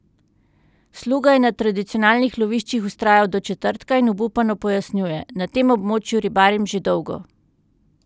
Sluga je na tradicionalnih loviščih vztrajal do četrtka in obupano pojasnjuje: "Na tem območju ribarim že dolgo.